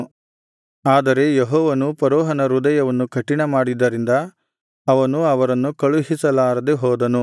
ಆದರೆ ಯೆಹೋವನು ಫರೋಹನ ಹೃದಯವನ್ನು ಕಠಿಣ ಮಾಡಿದ್ದರಿಂದ ಅವನು ಅವರನ್ನು ಕಳುಹಿಸಲಾರದೆ ಹೋದನು